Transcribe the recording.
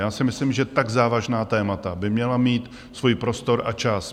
Já si myslím, že tak závažná témata by měla mít svůj prostor a čas.